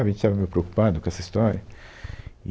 Sabe a gente estava meio preocupado com essa história.